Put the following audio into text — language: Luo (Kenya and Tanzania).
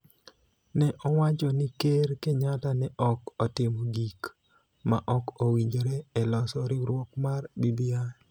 ne owacho ni Ker Kenyatta ne ok otimo gik ma ok owinjore e loso riwruok mar BBI.